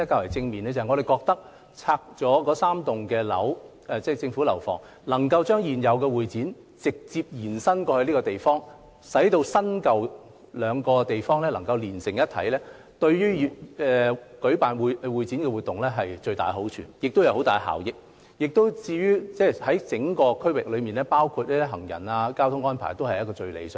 我們認為拆掉3座政府大樓後，能夠將現有會展中心直接延伸至新建的設施，令新舊兩個設施連成一體，將為舉辦會展活動帶來莫大好處及巨大效益；而且考慮到整個區域的影響，包括行人和交通安排，這個方法也是最理想的。